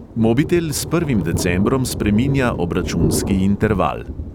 Mobitel s prvim decembrom spreminja obračunski interval.